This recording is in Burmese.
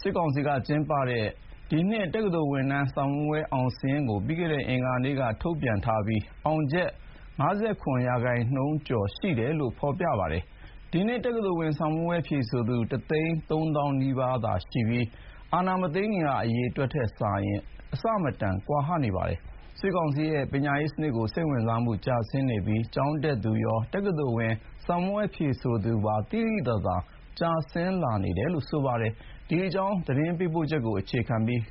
စစ်ကောင်စီလက်ထက် ဒီနှစ် တက္ကသိုလ်ဝင်ခွင့်အောင်စာရင်းကို ပြီးခဲ့တဲ့ အင်္ဂါနေ့က ထုတ်ပြန်ထားပြီး အောင်ချက်ရာခိုင်နှုန်းက ၅၇ ရာခိုင်နှုန်းကျော်ရှိတယ် ဖော်ပြထားပါတယ်။ ဒီနှစ် တက္ကသိုလ်ဝင်စာမေးပွဲ ဝင်ရောက်ဖြေဆိုသူ ၁၃၀,၀၀၀ နီးပါးသာရှိပြီး အာဏာမသိမ်းခင်က အရေအတွက်နဲ့ အဆမတန်ကွာဟနေပါတယ်။ စစ်ကောင်စီရဲ့ပညာရေးစနစ်အပေါ်မှာ စိတ်ဝင်စားမှုကျဆင်းနေပြီး ကျောင်းတက်ရောက်သူနဲ့ တက္ကသိုလ်ဝင်စာမေးပွဲ ဝင်ရောက်ဖြေဆိုသူ သိသိသာသာ ကျဆင်းလာတယ်လို့ ကျောင်းသားမိဘက ပြောပါတယ်။ ဒီအကြောင်း သတင်းပေးပို့ချက်ကို